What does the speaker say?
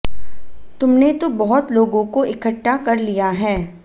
तुमने तो बहुत लोगों को इकट्ठा कर लिया है